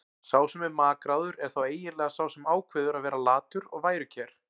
Sá sem er makráður er þá eiginlega sá sem ákveður að vera latur og værukær.